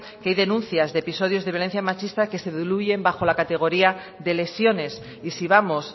que hay denuncias de episodios de violencia machista que se diluyen bajo la categoría de lesiones y si vamos